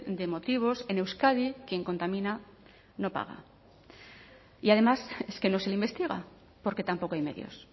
de motivos en euskadi quien contamina no paga y además es que no se le investiga porque tampoco hay medios